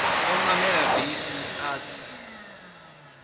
o namela bisi a tsa